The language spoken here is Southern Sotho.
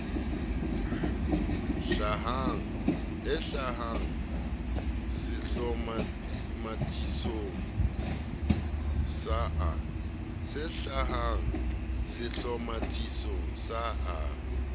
e hlahang sehlomathisong sa a